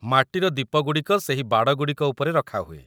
ମାଟିର ଦୀପଗୁଡ଼ିକ ସେହି ବାଡ଼ଗୁଡ଼ିକ ଉପରେ ରଖାହୁଏ ।